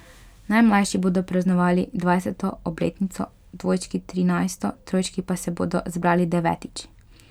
Najmlajši bodo praznovali dvajseto obletnico, dvojčki trinajsto, trojčki pa se bodo zbrali devetič.